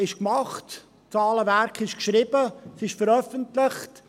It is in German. – Der VA ist gemacht, das Zahlenwerk ist geschrieben, es ist veröffentlicht.